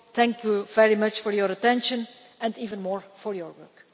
Thank you very much for your attention and even more for your work.